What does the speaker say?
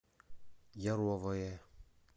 яровое